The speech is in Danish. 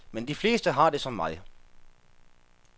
Men de fleste har det som mig.